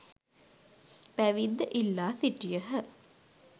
පැවිද්ද ඉල්ලා සිටියහ.